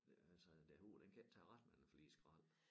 Øh altså den hoved den kan ikke tage ret mange flere skrald